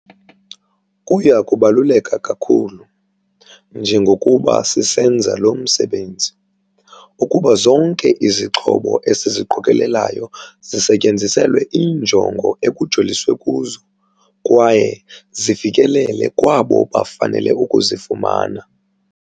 "Kuya kubaluleka kakhulu, njengokuba sisenza lo msebenzi, ukuba zonke izixhobo esiziqokelelayo zisetyenziselwe iinjongo ekujoliswe kuzo kwaye zifikelele kwabo bafanele ukuzifumana."